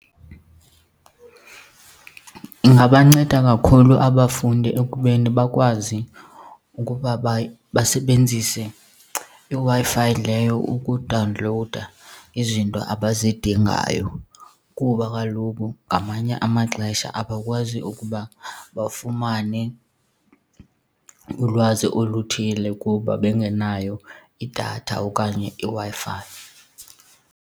Ingabanceda kakhulu abafundi ekubeni bakwazi ukuba basebenzise iWi-Fi leyo ukudawunlowuda izinto abazidingayo kuba kaloku ngamanye amaxesha abakwazi ukuba bafumane ulwazi oluthile kuba bengenayo idatha okanye iWi-Fi.